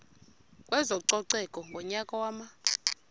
kwezococeko ngonyaka wama